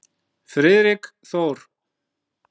Friðrik Þór.